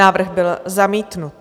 Návrh byl zamítnut.